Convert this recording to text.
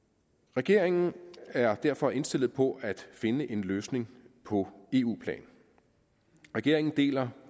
regeringen er derfor indstillet på at finde en løsning på eu plan regeringen deler